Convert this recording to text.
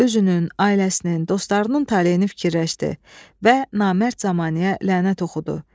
Özünün, ailəsinin, dostlarının taleyini fikirləşdi və namərd zəmanəyə lənət oxudu.